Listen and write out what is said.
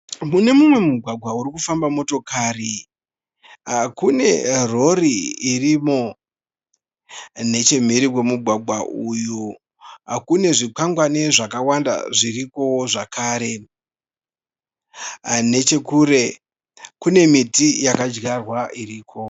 Mune mumwe mugwagwa uri kufamba motokari kune rori irimo. Nechemhiri kwemugwagwa uyu kune zvikwangwani zvakawanda zvirikowo zvakare. Nechekure kune miti yakadyarwa iriko.